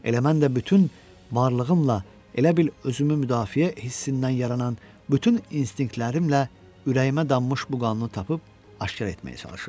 Elə mən də bütün varlığımla, elə bil özümü müdafiə hissindən yaranan bütün instinktlərimlə ürəyimə dammış bu qanunu tapıb aşkar etməyə çalışırdım.